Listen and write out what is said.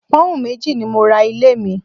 Pọ́ùn méjì ni mo ra ilé mi